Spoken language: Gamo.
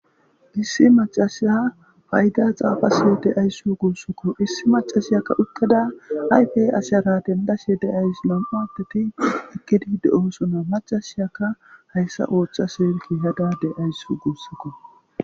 Issi macasya fayda xaafasyo de'ayssu guussokko issi macasiyakka uttada hayfe asyara dendase de'ayss nam'u adeti ekedide oosona macasiyaka hayssa oochca seerki hadade ayssu guussokko.